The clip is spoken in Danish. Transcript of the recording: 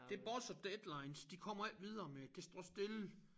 Det buzzer deadlines de kommer ikke videre med det det står stille